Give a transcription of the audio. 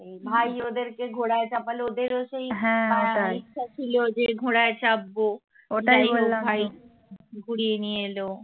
ভাই ওদের কে ঘোড়ারয় চাপাল ওদের হচ্ছে ইচ্ছা ছিল যে ঘোড়ায় চাপবো কুড়িয়ে নিয়ে এল